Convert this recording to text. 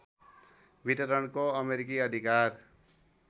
वितरणको अमेरिकी अधिकार